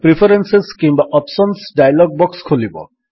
preferences କିମ୍ୱା options dialog box ଖୋଲିବ